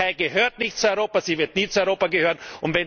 Die Türkei gehört nicht zu Europa, sie wird nie zu Europa gehören.